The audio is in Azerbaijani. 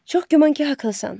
Çox güman ki, haqlısan.